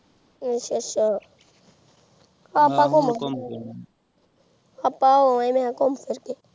ਆਚਾ ਆਚਾ ਅਪ੍ਪਾ ਹੋ ਆਯਾ ਵ ਘੁਮ ਫਿਰ ਕੇ